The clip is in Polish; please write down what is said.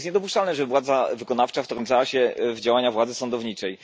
Jest niedopuszczalne, żeby władza wykonawcza wtrącała się w działania władzy sądowniczej.